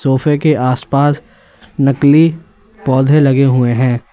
सोफे के आसपास नकली पौधे लगे हुए हैं।